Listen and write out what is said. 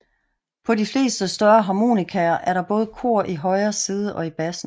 På de fleste større harmonikaer er der både kor i højre side og i bassen